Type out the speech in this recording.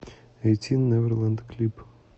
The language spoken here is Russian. эйтин неверлэнд клип